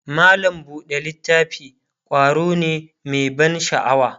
mallam buɗe littafi ƙwaro ne Mai ban sha'awa